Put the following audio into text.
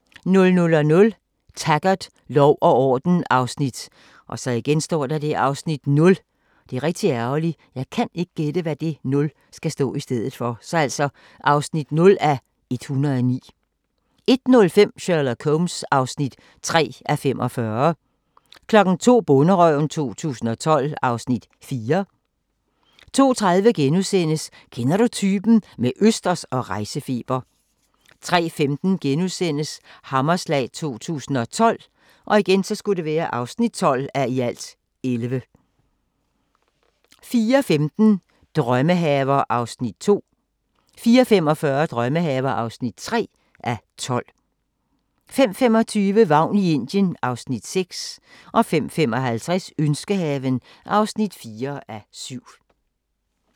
00:00: Taggart: Lov og orden (0:109) 01:05: Sherlock Holmes (3:45) 02:00: Bonderøven 2012 (Afs. 4) 02:30: Kender du typen? – med østers og rejsefeber * 03:15: Hammerslag 2012 (12:11)* 04:15: Drømmehaver (2:12) 04:45: Drømmehaver (3:12) 05:25: Vagn i Indien (Afs. 6) 05:55: Ønskehaven (4:7)